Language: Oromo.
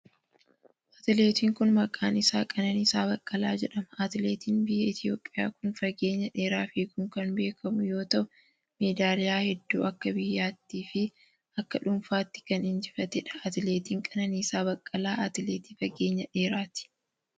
Atileetiin kun, maqaan isaa qananiisaa Baqqalaa jedhama. Atileetiin biyya Itoophiyaa kun fageenya dheeraa fiiguun kan beekamu yoo ta'u, meedaaliyaa hedduu akka biyyaatti fi akka dhuunfaatti kan injifatee dha. Atileetiin Qananiisaa Baqqalaa Atileetii fageenya dheeraati.